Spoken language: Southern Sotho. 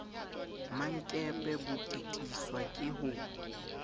mmankepe bo totiswa ke ho